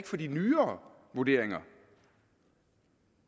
til de nyere vurderinger